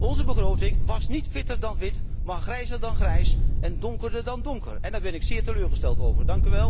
Onze begroting wast niet witter dan wit, maar grijzer dan grijs en donkerder dan donker en daar ben ik zeer teleurgesteld over.